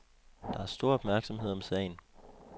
Der er stor opmærksomhed om sagen.